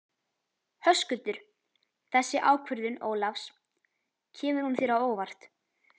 Höskuldur: Þessi ákvörðun Ólafs, kemur hún þér á óvart?